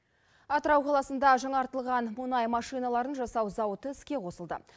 атырау қаласында жаңартылған бонай машиналарын жасау зауыты іске қосылды